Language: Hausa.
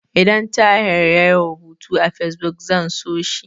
Idan Tahir yayi rubutu a Fesbuk, zan so shi.